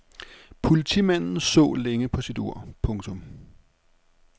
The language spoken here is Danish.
Politimanden så længe på sit ur. punktum